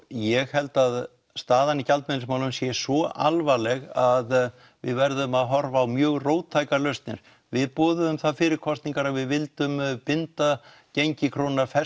ég held að staðan í gjaldmiðilsmálum sé svo alvarleg að við verðum að horfa á mjög róttækar lausnir við boðuðum það fyrir kosninar að við vildum binda gengi krónunnar